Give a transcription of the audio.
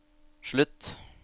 slutt